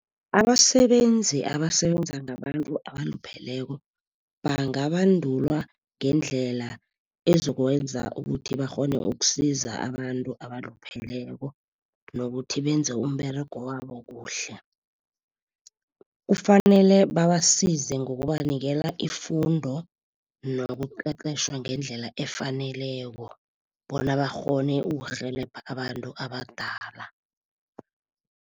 Abasebenzi, abasebenza ngabantu abalupheleko, bangabandulwa ngendlela ezokwenza ukuthi bakghone ukusiza abantu abalupheleko nokuthi benze umberego wabo kuhle. Kufanele babasize ngokubanikela ifundo nokuqeqetjhwa ngendlela efaneleko bona, bakghone ukurhelebha abantu abadala.